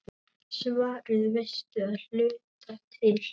Svarið veistu að hluta til.